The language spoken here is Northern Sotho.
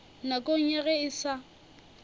nakong ya ge e sa